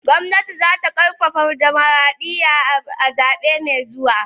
Gwamnati za ta karfafa dimokradiyya a zabe mai zuwa.